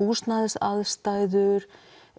húsnæðisaðstæður